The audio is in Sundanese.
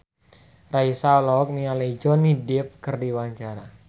Raisa olohok ningali Johnny Depp keur diwawancara